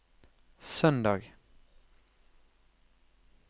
søndag